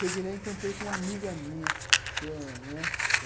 Cheguei lá e encontrei com uma amiga minha